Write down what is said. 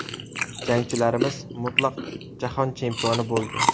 Jangchilarimiz mutlaq jahon chempioni bo‘ldi!.